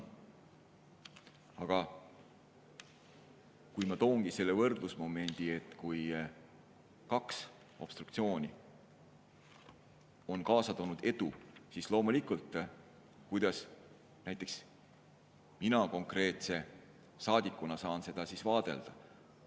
Aga kui ma toongi selle võrdlusmomendi, et kui kaks obstruktsiooni on kaasa toonud edu, siis kuidas näiteks mina konkreetse saadikuna saan seda vaadelda.